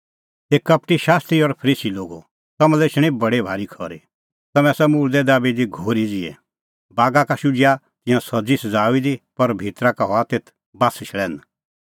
हे कपटी शास्त्री और फरीसी लोगो तम्हां लै एछणी बडी भारी खरी तम्हैं आसा मुल्दै दाबी दी घोरी ज़िहै बागा का शुझिआ तिंयां सज़ीसज़ाऊई दी पर भितरा का हआ तेथ बास्स शल़ैन्ह